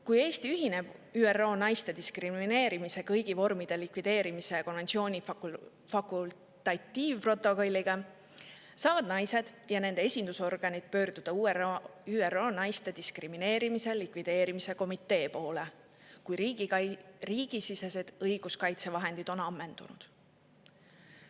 Kui Eesti ühineb ÜRO naiste diskrimineerimise kõigi vormide likvideerimise konventsiooni fakultatiivprotokolliga, saavad naised ja nende esindusorganid pöörduda ÜRO naiste diskrimineerimise likvideerimise komitee poole, kui riigisisesed õiguskaitsevahendid on ammendunud.